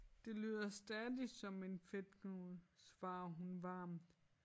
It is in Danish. Det lyder stadig som en fedtknude svarer hun varmt